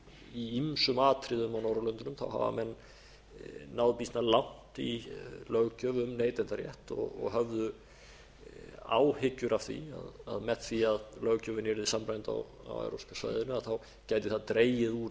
í ýmsum atriðum á norðurlöndunum hafa menn náð býsna langt í löggjöf um neytendarétt og höfðu áhyggjur af því að með því að löggjöfin yrði samræmd á evrópska svæðinu gæti það dregið úr